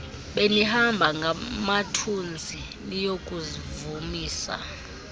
benihamba ngamathunzi niyokuvumisa